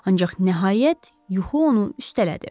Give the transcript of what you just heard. Ancaq nəhayət yuxu onu üstələdi.